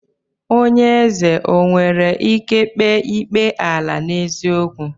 Onye ézè o nwere ike kpee ikpe ala n'eziokwu?